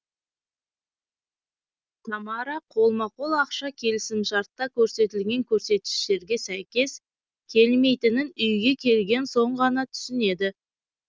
тамара қолма қол ақша келісімшартта көрсетілген көрсеткіштерге сәйкес келмейтінін үйге келген соң ғана түсінеді